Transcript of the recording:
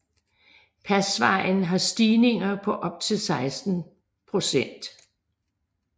Pasvejen har stigninger på op til 16 procent